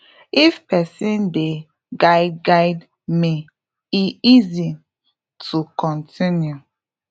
if person dey guide guide me e easy to continue